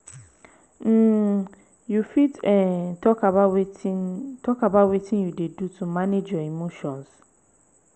um you fit um talk about wetin talk about wetin you dey do to manage your emotions?